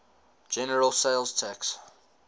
general sales tax